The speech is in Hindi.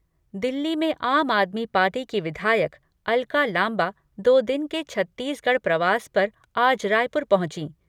दिल्ली में आम आदमी पार्टी की विधायक अलका लांबा दो दिन के छत्तीसगढ़ प्रवास पर आज रायपुर पहुंची।